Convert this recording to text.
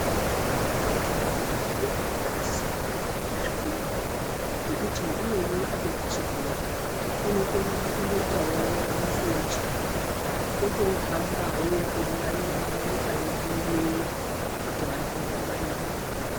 Vana vedu vanosisa kuenda kuzvikora. Ngekuti umweni apedza chikora, unokona kundoitawo musoja. Otohambawo eingwarira nyika yedu ineyi. Kuti vantu vangwaririke.